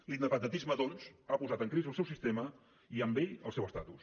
l’independentisme doncs ha posat en crisi el seu sistema i amb ell el seu estatus